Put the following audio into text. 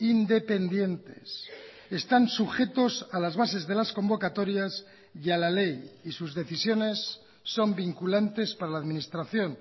independientes están sujetos a las bases de las convocatorias y a la ley y sus decisiones son vinculantes para la administración